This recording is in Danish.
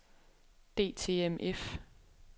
DTMF